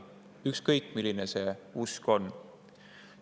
milline usk on.